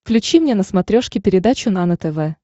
включи мне на смотрешке передачу нано тв